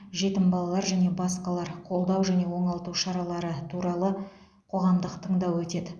жетім балалар және басқалар қолдау және оңалту шаралары туралы қоғамдық тыңдау өтеді